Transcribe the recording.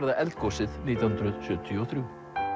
það eldgosið nítján hundruð sjötíu og þrjú